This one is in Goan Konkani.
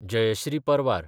जयश्री परवार